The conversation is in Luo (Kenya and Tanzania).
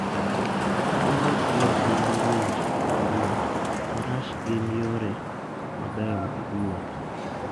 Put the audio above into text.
Kata bed ni piny ng'ich kata liet, Faras gin yore mabeyo mag wuoth.